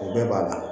O bɛɛ b'a la